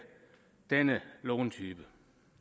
denne låntype